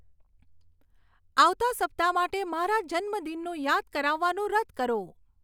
આવતા સપ્તાહ માટે મારા જન્મદિનનું યાદ કરાવવાનું રદ કરો